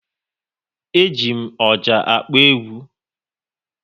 E ji m ọjà akpọ egwu